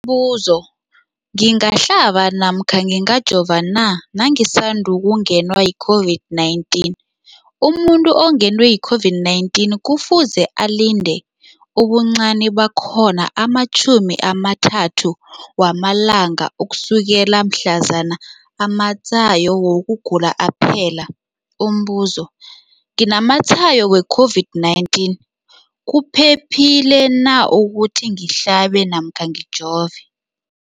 buzo, ngingahlaba namkha ngingajova na nangisandu kungenwa yi-COVID-19? Umuntu ongenwe yi-COVID-19 kufuze alinde ubuncani bakhona ama-30 wama langa ukusukela mhlazana amatshayo wokugula aphela. Umbuzo, nginamatshayo we-COVID-19, kuphephile na ukuthi ngihlabe namkha ngijove?